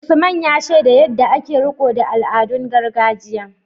Usman, ya shaida yadda ake riko da al’adun gargajiya.